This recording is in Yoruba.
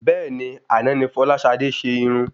Bẹ́ẹ̀ni, àná ni fọláṣadé se Irun